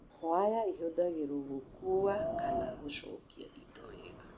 Waya ihũthagĩrũo gũkuua kana gũcukia indo wega.